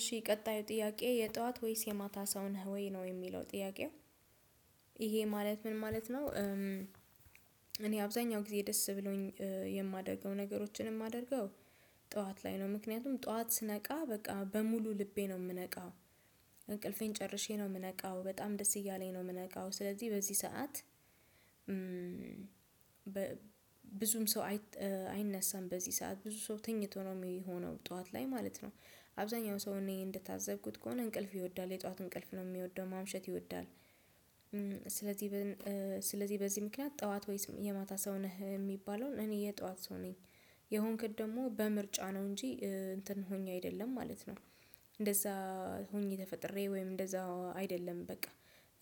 እሺ ቀጣዩ ጥያቄ የጠዋት ወይስ የማታ ሰው ነህ ወይ ነው የሚለው ጥያቄው? ይሄ ማለት ምን ማለት ነው? እኔ አብዛኛው ጊዜ ደስ ብሎኝ የማደርገው ነገሮችን የማደርገው ጠዋት ላይ ነው ምክንያቱም ጠዋት ስነቃ በቃ በሙሉ ልቤ ነው የምነቃው እንቅልፌን ጨርሼ ነው የምነቃው በጣም ደስ እያለኝ ነው የምነቃው ስለዚህ በዚህ ሰዓት። ብዙም ሰው አይነሳም በዚህ ሰዓት ብዙ ሰው ተኝቶ ነው የሚሆነው ጠዋት ላይ ማለት ነው። አብዛኛው ሰው እኔ እንደታዘብኩት ከሆነ እንቅልፍ ይወዳል የጧት እንቅልፍ ነው የሚወደው ማምሸት ይወዳል። ስለዚህ ስለዚህ በዚህ ምክንያት ጠዋት ወይስ የማታ ሰው ነህ የሚባለውን እኔ የጠዋት ሰው ነኝ። የሆንኩት ደግሞ በምርጫ ነው እንጂ እንትን ሆኜ አይደለም ማለት ነው። እንደዛ ሆኜ ተፈጥሬ ወይም እንደዛ አይደለም በቃ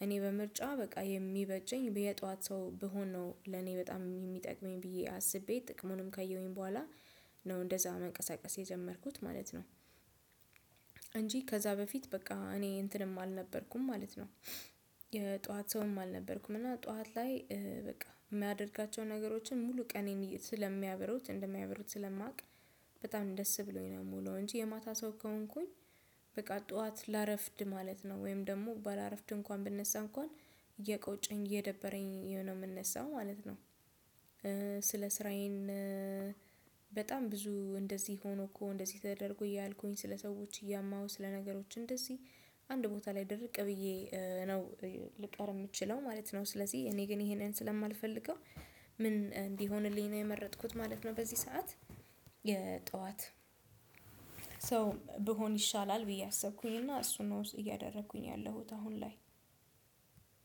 እኔ በምርጫ በቃ የሚበጀኝ የጧት ሰው ብሆን ነው ለኔ በጣም የሚጠቅመኝ ብዬ አስቤ ጥቅሙንም ካየሁኝ በኋላ ነው እንደዛ መንቀሳቀስ የጀመርኩት ማለት ነው። እንጂ ከዛ በፊት በቃ እኔ እንትንም አልነበርኩም ማለት ነው። የጧት ሰውም አልነበርኩም እና ጠዋት ላይ በቃ የማደርጋቸውን ነገሮችን ሙሉ ቀኔን ስለሚያበሩት እንደሚያበሩት ስለማውቅ። በጣም ደስ ብሎኝ ነው የምውለው እንጂ የማታ ሰው ከሆንኩኝ። በቃ ጠዋት ላረፍድ ማለት ነው ወይም ደግሞ ባላረፍድ እንኳን ብነሳ እንኳን እየቆጨኝ እየደበረኝ ነው የምነሳው ማለት ነው። ስለ ስራዬን በጣም ብዙ እንደዚህ ሆኖ እኮ እንደዚህ ተደርጎ እያልኩኝ ስለ ሰዎች እያማሁ ስለነገሮች እንደዚህ አንድ ቦታ ላይ ድርቅ ብዬ ነው ልቀር የምችለው ማለት ነው ስለዚህ እኔ ግን ይሄንን ስለማልፈልገው ምን እንዲሆንልኝ ነው የመረጥኩት ማለት ነው። በዚህ ሰዓት የጠዋት ሰው ብሆን ይሻላል ብዬ አሰብኩኝና እሱን ነው እያደረኩኝ ያለሁት አሁን ላይ።